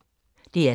DR2